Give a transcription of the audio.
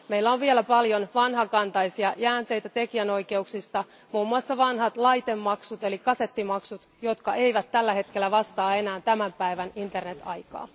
Meillä on vielä paljon vanhakantaisia jäänteitä tekijänoikeuksista, muun muassa vanhat laitemaksut eli kasettimaksut, jotka eivät tällä hetkellä vastaa enää tämän päivän internet aikaa.